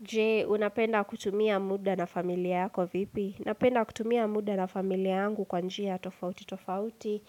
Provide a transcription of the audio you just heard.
Je, unapenda kutumia muda na familia yako vipi? Napenda kutumia muda na familia yangu kwa njia tofauti tofauti.